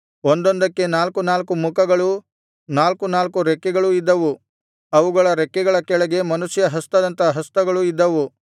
ಒಂದೊಂದಕ್ಕೆ ನಾಲ್ಕು ನಾಲ್ಕು ಮುಖಗಳೂ ನಾಲ್ಕು ನಾಲ್ಕು ರೆಕ್ಕೆಗಳೂ ಇದ್ದವು ಅವುಗಳ ರೆಕ್ಕೆಗಳ ಕೆಳಗೆ ಮನುಷ್ಯ ಹಸ್ತದಂಥ ಹಸ್ತಗಳು ಇದ್ದವು